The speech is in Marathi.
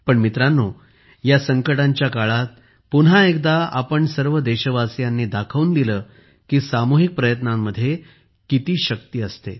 पण मित्रांनो या संकटांच्या काळात पुन्हा एकदा आपण सर्व देशवासीयांनी दाखवून दिले की सामुहिक प्रयत्नांमध्ये किती शक्ती असते